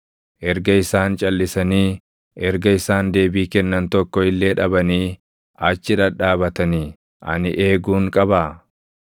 Erga isaan calʼisanii, erga isaan deebii kennan tokko illee dhabanii achi dhadhaabatanii, // ani eeguun qabaa?